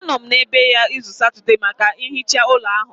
Anọ m n'ebe ya izu Satọde maka nhicha ụlọ ahụ